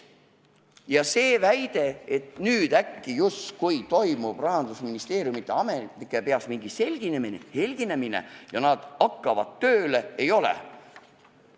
Ja väide, et äkki nüüd toimub Rahandusministeeriumi ametnike peas mingi selginemine-helginemine ja nad hakkavad tööle – seda ei ole.